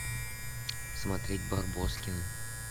смотреть барбоскины